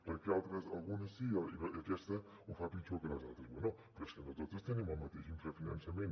per què algunes sí aquesta ho fa pitjor que les altres bé però és que no totes tenim el mateix infrafinançament